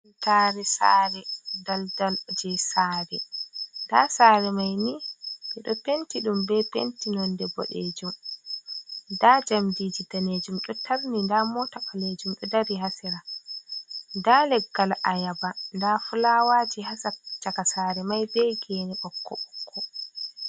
Tare saare, daldal je sare, nda sare mai ni ɓe ɗo penti ɗum be penti nonde bodejum, nda jamdiji danejum ɗo tarni, nda mota ɓalejum ɗo dari ha sera, nda leggal ayaba, nda fulawaji ha chaka, sare mai be gene ɓokko ɓokko.